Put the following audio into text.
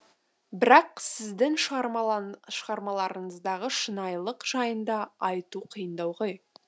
бірақ сіздің шығармаларыңыздағы шынайылық жайында айту қиындау ғой